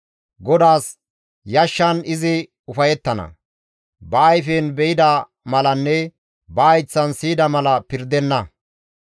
GODAAS yashshan izi ufayettana; ba ayfen be7ida malanne ba hayththan siyida mala pirdenna.